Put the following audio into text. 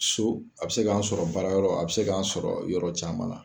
So a be se k'an sɔrɔ baara yɔrɔ a be se k'an sɔrɔ yɔrɔ caman la